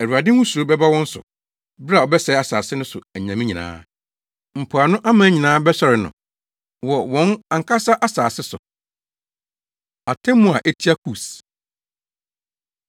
Awurade ho suro bɛba wɔn so bere a ɔbɛsɛe asase no so anyame nyinaa. Mpoano aman nyinaa bɛsɔre no, wɔ wɔn ankasa wɔn asase so. Atemmu A Etia Kus